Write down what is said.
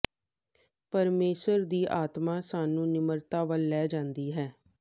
ਪਰਮੇਸ਼ੁਰ ਦੀ ਆਤਮਾ ਸਾਨੂੰ ਨਿਮਰਤਾ ਵੱਲ ਲੈ ਜਾਂਦੀ ਹੈ